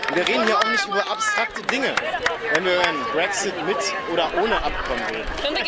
Wir reden hier auch nicht über abstrakte Dinge, wenn wir über einen Brexit mit oder ohne Abkommen reden.